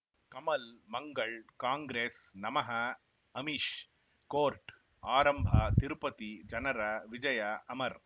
ಕಮಲ್ ಮಂಗಳ್ ಕಾಂಗ್ರೆಸ್ ನಮಃ ಅಮಿಷ್ ಕೋರ್ಟ್ ಆರಂಭ ತಿರುಪತಿ ಜನರ ವಿಜಯ ಅಮರ್